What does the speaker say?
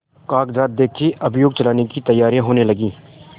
कागजात देखें अभियोग चलाने की तैयारियॉँ होने लगीं